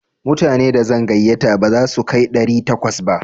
Mutane da zan gayyata ba za su kai ɗari takwas ba.